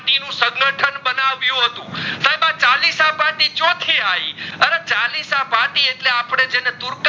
ના ચાલીસા પાઠી ચોખી આઇ અરે ચાલીસા પાઠી એટલે અપડે જેને તુરત